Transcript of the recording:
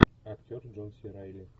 актер джон си райли